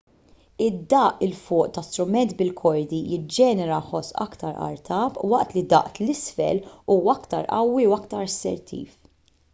id-daqq l fuq ta' strument bil-kordi jiġġenera ħoss aktar artab waqt li daqq l isfel huwa aktar qawwi u aktar assertiv